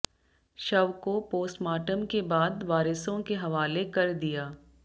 शव को पोस्टमार्टम के बाद वारिसों के हवाले कर दिया